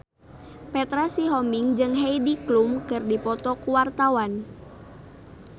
Petra Sihombing jeung Heidi Klum keur dipoto ku wartawan